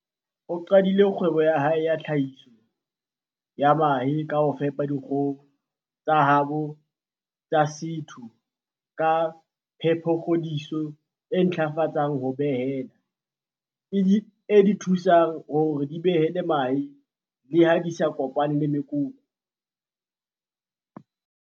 O qadile kgwebo ya hae ya tlhahiso ya mahe ka ho fepa dikgoho tsa habo tsa setho ka phepokgodiso e ntlafatsang ho behela, e di thusang hore di behele mahe le ha di sa kopana le mekoko.